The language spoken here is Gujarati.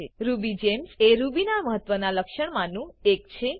રુબીજેમ્સ એ રૂબી ના મહત્વ ના લક્ષણમાનું એક છે